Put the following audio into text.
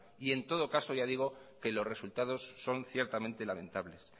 y en todo caso ya digo que los resultados son ciertamente lamentables